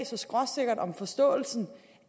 så skråsikkert om forståelsen